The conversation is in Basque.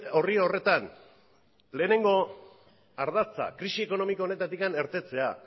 orri horretan lehenengo ardatza krisi ekonomiko honetatik irtetea